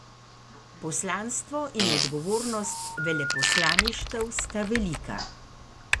Poslanstvo in odgovornost veleposlaništev sta velika.